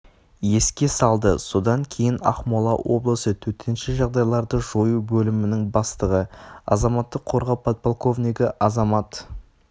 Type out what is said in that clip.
еске салды содан кейін ақмола облысы төтенше жағдайларды жою бөлімінің бастығы азаматтық қорғау подполковнигі азамат